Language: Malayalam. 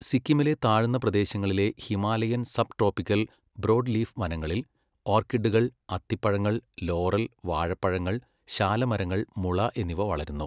സിക്കിമിലെ താഴ്ന്ന പ്രദേശങ്ങളിലെ ഹിമാലയൻ സബ്ട്രോപിക്കൽ ബ്രോഡ്ലീഫ് വനങ്ങളിൽ ഓർക്കിഡുകൾ, അത്തിപ്പഴങ്ങൾ, ലോറൽ, വാഴപ്പഴങ്ങൾ, ശാലമരങ്ങൾ, മുള എന്നിവ വളരുന്നു.